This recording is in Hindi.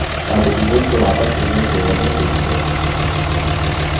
अब image को वापस image folder में paste करें